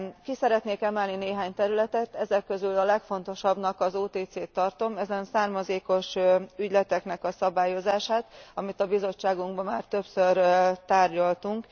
Ki szeretnék emelni néhány területet, ezek közül a legfontosabbnak az OTC t tartom, ezen származékos ügyleteknek a szabályozását, amit a bizottságunkban már többször tárgyaltunk.